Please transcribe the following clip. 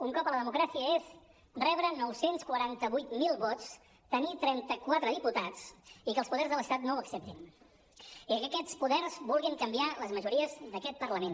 un cop a la democràcia és rebre nou cents i quaranta vuit mil vots tenir trenta quatre diputats i que els poders de l’estat no ho acceptin i que aquests poders vulguin canviar les majories d’aquest parlament